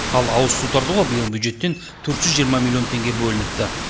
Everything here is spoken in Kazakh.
ал ауызсу тартуға биыл бюджеттен төрт жүз жиырма миллион теңге бөлініпті